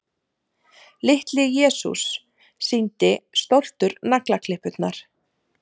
Litli-Jesús sýndi stoltur naglaklippurnar.